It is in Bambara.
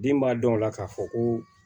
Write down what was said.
Den b'a dɔn o la k'a fɔ ko